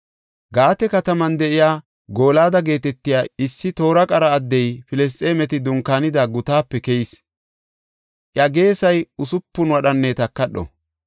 Gaate kataman de7iya Gooliyada geetetiya issi toora qara addey Filisxeemeti dunkaanida gutaape keyis; iya geesay usupun wadhanne takadho.